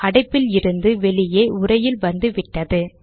அடைப்பில் இருந்து வெளியே உரையில் வந்துவிட்டது